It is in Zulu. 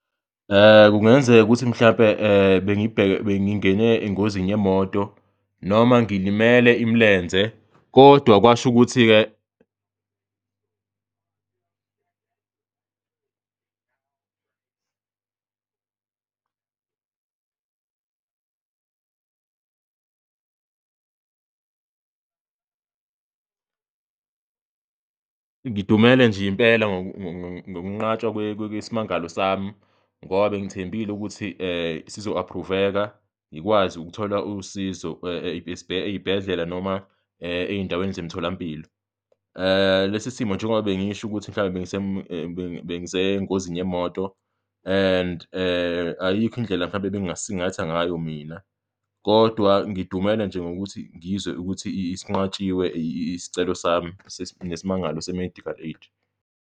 Kungenzeka ukuthi mhlampe bengingene engozini yemoto noma ngilimele imilenze kodwa kwasho ukuthi-ke ngidumele nje impela ngokunqatshwa kwesmangalo sami ngoba bengithembile ukuthi sizo-approve-veka ngikwazi ukuthola usizo ey'bhedlela noma ey'ndaweni zemtholampilo lesi simo njengoba bengisho ukuthi mhlampe bengisengozini yemoto and ayikho indlela mhlawumbe ebengasingatha ngayo mina kodwa ngidumele nje ngokuthi ngizwe ukuthi sinqatshiwe isicelo sami nesimangalo se-medical aid.